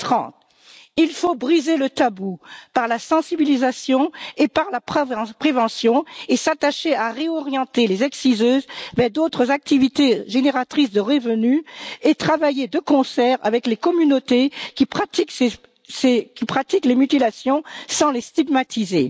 2030. Il faut briser le tabou par la sensibilisation et par la prévention, s'attacher à réorienter les exciseuses vers d'autres activités génératrices de revenus, et travailler de concert avec les communautés qui pratiquent les mutilations, sans les stigmatiser.